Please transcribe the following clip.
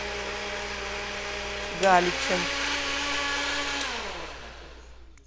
галичем